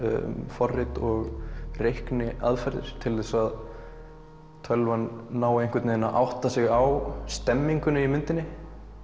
forrit og reikniaðferðir til þess að tölvan nái einhvern veginn að átta sig á stemningunni í myndinni